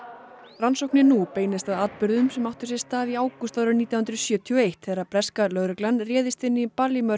rannsóknin nú beinist að atburðum sem áttu sér stað í ágúst árið nítján hundruð sjötíu og eitt þegar breska lögreglan réðst inn í